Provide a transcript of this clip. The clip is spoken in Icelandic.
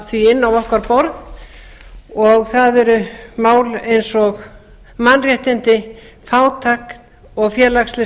því inn á okkar borð og það eru mál eins og mannréttindi fátækt félagsleg